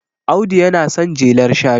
Audu yana son jelar shanu